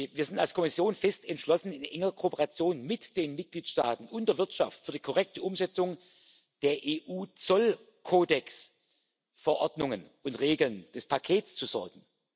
Wir sind als Kommission fest entschlossen, in enger Kooperation mit den Mitgliedstaaten und der Wirtschaft für die korrekte Umsetzung der EU Zollkodexverordnungen und regeln des Pakets zu sorgen.